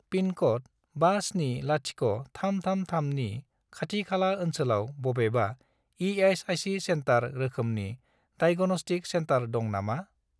पिनक'ड 570333 नि खाथि खाला ओनसोलाव बबेबा इ.एस.आइ.सि. सेन्टार रोखोमनि डाइग'नस्टिक सेन्टार दं नामा?